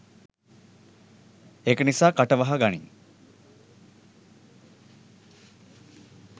ඒක නිසා කට වහ ගනින්